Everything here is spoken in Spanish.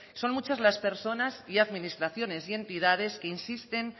son muchas las personas y administraciones y entidades que insisten